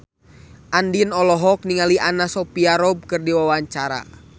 Andien olohok ningali Anna Sophia Robb keur diwawancara